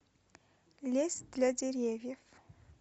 лес для деревьев